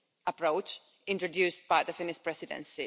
approach introduced by the Finnish Presidency.